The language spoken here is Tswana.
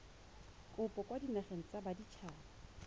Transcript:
kopo kwa dinageng tsa baditshaba